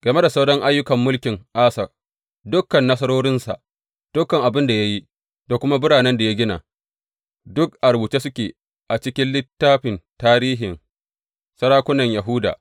Game da sauran ayyukan mulkin Asa, dukan nasarorinsa, dukan abin da ya yi, da kuma biranen da ya gina, duk a rubuce suke a cikin littafin tarihin sarakunan Yahuda.